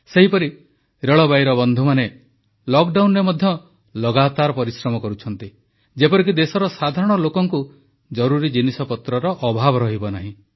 ସେହିପରି ରେଳବାଇର ବନ୍ଧୁମାନେ ଲକଡାଉନରେ ମଧ୍ୟ ଲଗାତର ପରିଶ୍ରମ କରୁଛନ୍ତି ଯେପରିକି ଦେଶର ସାଧାରଣ ଲୋକଙ୍କୁ ଜରୁରୀ ଜିନିଷପତ୍ରର ଅଭାବ ରହିବ ନାହିଁ